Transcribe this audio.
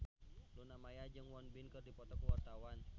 Luna Maya jeung Won Bin keur dipoto ku wartawan